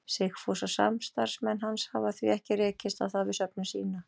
Sigfús og samstarfsmenn hans hafa því ekki rekist á það við söfnun sína.